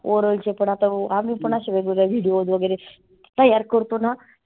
oral चे पण आता आम्ही पण आसे वेगवेगळे videos वगैरे तयार करतोना.